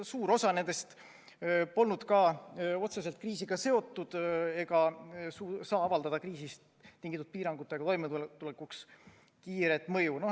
Suur osa nendest polnud ka otseselt kriisiga seotud ega saaks avaldada kriisist tingitud piirangutega toimetulekuks kiiret mõju.